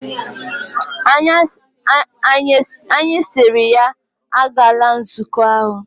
Anyi siri ya, agala nzuko ahu!